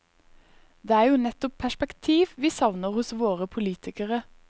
Det er jo nettopp perspektiv vi savner hos våre politikere.